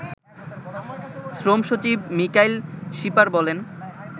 শ্রম সচিব মিকাইল শিপার বলেন